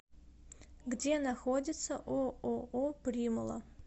где находится ооо примула